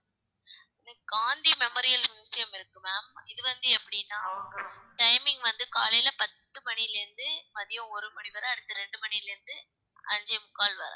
Gandhi memorial museum இருக்கு ma'am இது வந்து எப்படின்னா timing வந்து காலையில பத்து மணியில இருந்து மதியம் ஒரு மணிவரை அடுத்து இரண்டு மணியில இருந்து அஞ்சே முக்கால் வரை